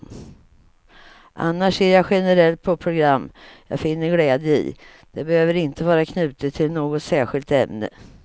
Annars ser jag generellt på program jag finner glädje i, det behöver inte vara knutet till något särskilt ämne.